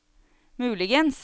muligens